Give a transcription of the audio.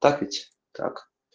так ведь так